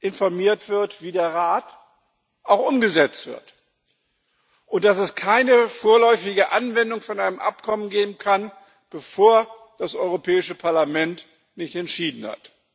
informiert wird wie der Rat, auch umgesetzt werden, und dass es keine vorläufige Anwendung eines Abkommens geben kann, bevor das Europäische Parlament nicht entschieden hat.